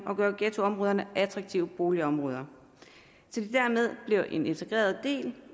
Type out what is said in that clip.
og gøre ghettoområderne attraktive boligområder så de dermed blev en integreret del